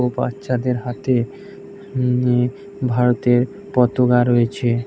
ও বাচ্চাদের হাতে নি নি ভারতের পতাকা রয়েছে --